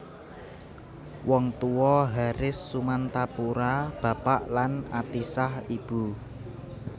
Wong Tuwa Haris Sumantapura bapak lan Atisah ibu